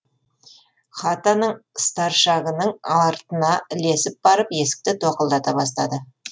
хатаның старшагының артына ілесіп барып есікті тоқылдата бастады